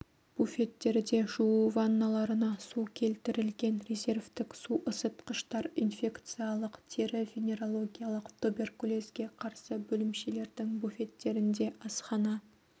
буфеттерде жуу ванналарына су келтірілген резервтік су ысытқыштар инфекциялық тері-венерологиялық туберкулезге қарсы бөлімшелердің буфеттерінде асхана